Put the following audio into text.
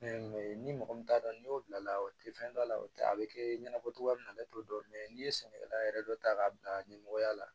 ni mɔgɔ min t'a dɔn n'i y'o bila o tɛ fɛn dɔ la o tɛ a bɛ kɛ ɲɛnabɔcogoya ye na ale t'o dɔn n'i ye sɛnɛkɛla yɛrɛ dɔ ta k'a bila ɲɛmɔgɔya la